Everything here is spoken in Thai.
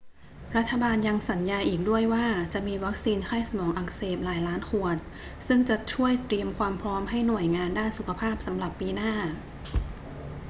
รัฐบาลยังสัญญาอีกด้วยว่าจะมีวัคซีนไข้สมองอักเสบหลายล้านขวดซึ่งจะช่วยเตรียมความพร้อมให้หน่วยงานด้านสุขภาพสำหรับปีหน้า